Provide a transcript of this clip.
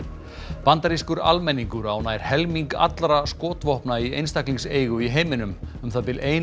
bandarískur almenningur á nær helming allra skotvopna í einstaklingseigu í heiminum um það bil ein